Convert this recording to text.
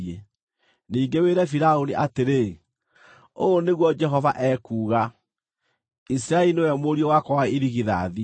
Ningĩ wĩre Firaũni atĩrĩ, ‘Ũũ nĩguo Jehova ekuuga: Isiraeli nĩwe mũriũ wakwa wa irigithathi,